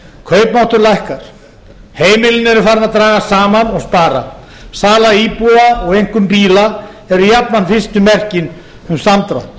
kaupmáttur lækkar heimilin eru farin að draga saman og spara sala íbúða og einkum bíla eru jafnan fyrstu merkin um samdrátt